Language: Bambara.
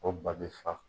O ba bɛ fa